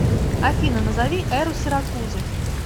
афина назови эру сиракузы